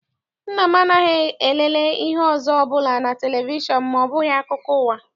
Nna m anaghị elele ihe ọzọ ọbụla na televishọn ma ọ bụghị akụkọ ụwa.